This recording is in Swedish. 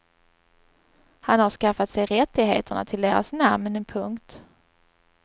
Han har skaffat sig rättigheterna till deras namn. punkt